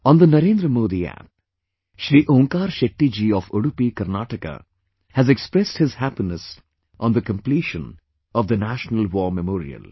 On the Narendra Modi App, Shri Onkar Shetty ji of Udupi, Karnataka has expressed his happiness on the completion of the National War Memorial